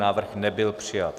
Návrh nebyl přijat.